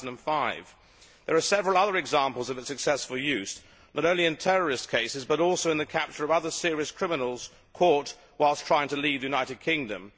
2005. There are several other examples of their successful use, not only in terrorist cases but also in the capture of other serious criminals caught whilst trying to leave the United Kingdom.